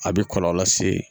A bɛ kɔlɔlɔ lase